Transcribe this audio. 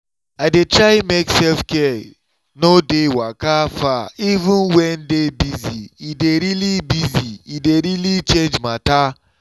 i dey try make self-care no dey waka far even when day busy—e dey really busy—e dey really change matter.